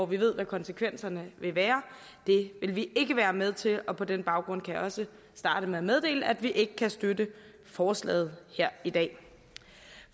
vi ved hvad konsekvenserne vil være vil vi ikke være med til på den baggrund kan jeg også starte med at meddele at vi ikke kan støtte forslaget her i dag